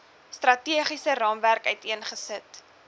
strategiese raamwerk uiteengesit